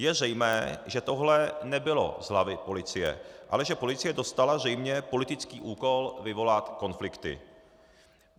Je zřejmé, že tohle nebylo z hlavy policie, ale že policie dostala zřejmě politický úkol vyvolat konflikty.